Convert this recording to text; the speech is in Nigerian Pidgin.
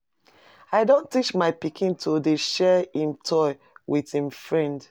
I don teach my pikin to dey share him toy wit im friend.